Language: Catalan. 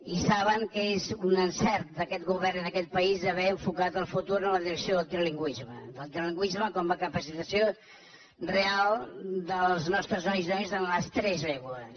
i saben que és un encert d’aquest govern i d’aquest país haver enfocat el futur en la direcció del trilingüisme del trilingüisme com a capacitació real dels nostres nois i noies en les tres llengües